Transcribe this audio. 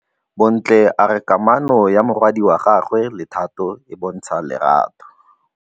Bontle a re kamanô ya morwadi wa gagwe le Thato e bontsha lerato.